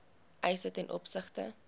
eise ten opsigte